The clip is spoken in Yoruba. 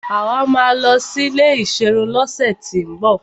Àwa máa lọ sí ilé ìserun lọ́sẹ̀ tín bọ̀.